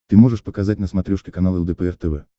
ты можешь показать на смотрешке канал лдпр тв